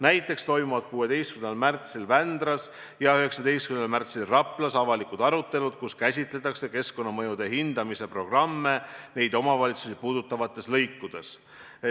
Näiteks toimuvad 16. märtsil Vändras ja 19. märtsil Raplas avalikud arutelud, kus käsitletakse keskkonnamõjude hindamise programme neid omavalitsusi puudutavates lõikudes.